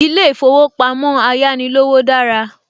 Ilé ìfowópamọ́ Ayánilówó dára